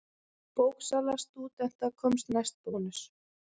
Bóksala stúdenta komst næst Bónus.